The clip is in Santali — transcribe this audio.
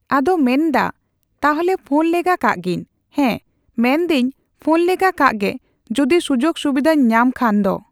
ᱟᱫᱚ ᱢᱮᱱ ᱫᱟ ᱛᱟᱞᱦᱮ ᱯᱷᱳᱱ ᱞᱮᱜᱟ ᱠᱟᱜ ᱜᱤᱧ᱾ ᱦᱮᱸ, ᱢᱮᱱ ᱫᱟᱹᱧ ᱯᱷᱳᱱ ᱞᱮᱜᱟ ᱠᱟᱜ ᱜᱮ ᱡᱩᱫᱤ ᱥᱩᱡᱳᱜᱽ ᱥᱩᱵᱤᱫᱷᱟᱹᱧ ᱧᱟᱢ ᱠᱷᱟᱱ ᱫᱚ᱾